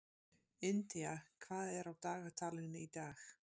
India, hvað er á dagatalinu í dag?